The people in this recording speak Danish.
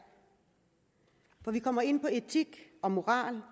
for vi kommer ind på etik og moral